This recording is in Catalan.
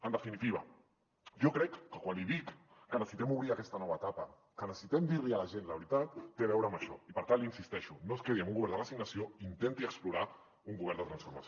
en definitiva jo crec que quan li dic que necessitem obrir aquesta nova etapa que necessitem dir li a la gent la veritat té a veure amb això i per tant hi insisteixo no es quedi en un govern de resignació intenti explorar un govern de transformació